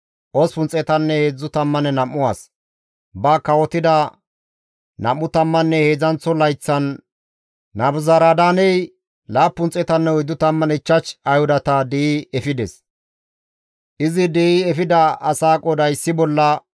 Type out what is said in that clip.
Ba kawotida nam7u tammanne heedzdzanththo layththan Nabuzaradaaney 745 ayhudata di7i efides; izi di7i efida asaa qooday issi bolla 4,600.